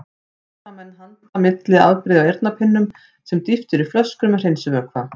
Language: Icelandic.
Hér hafa menn handa milli afbrigði af eyrnapinnum sem dýft er í flöskur með hreinsivökva.